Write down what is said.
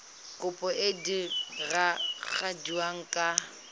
kopo e e diragadiwa ka